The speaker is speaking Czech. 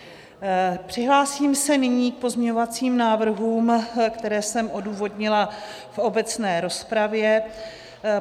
Přihlásím se nyní k pozměňovacím návrhům, které jsem odůvodnila v obecné rozpravě.